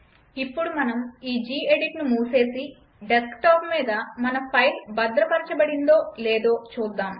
ఇప్పుడు మనం ఈ జీ ఎడిట్ను మూసేసి డెస్క్టాప్ మీద మన ఫైల్ భద్రపరచబడిందో లేదో చూద్దాం